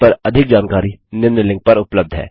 इस पर अधिक जानकारी निम्न लिंक पर उपलब्ध है